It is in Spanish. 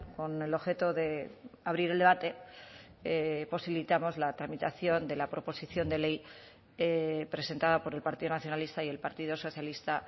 con el objeto de abrir el debate posibilitamos la tramitación de la proposición de ley presentada por el partido nacionalista y el partido socialista